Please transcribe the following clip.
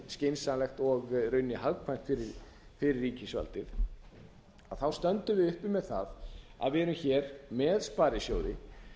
skynsamlegt og í rauninni hagkvæmt fyrir ríkisvaldið að þá stöndum við uppi með það að við erum hér með sparisjóði